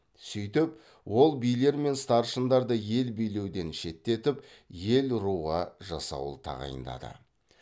сөйтіп ол билер мен старшындарды ел билеуден шеттетіп ер руға жасауыл тағайындады